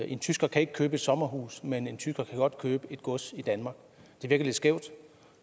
en tysker kan ikke købe et sommerhus men en tysker kan godt købe et gods i danmark det virker lidt skævt